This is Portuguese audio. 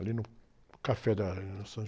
Ali no café da São